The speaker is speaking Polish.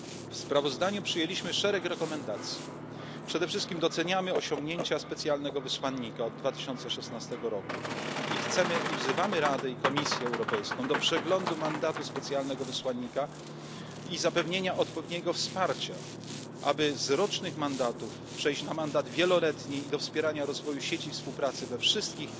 tutaj wiele. W sprawozdaniu przyjęliśmy szereg rekomendacji przede wszystkim doceniamy osiągnięcia specjalnego wysłannika od 2016 roku i wzywamy Radę i Komisję Europejską do przeglądu mandatu specjalnego wysłannika i zapewnienia odpowiedniego wsparcia, aby z rocznych mandatów przejść na mandat wieloletni, i do wspierania rozwoju sieci współpracy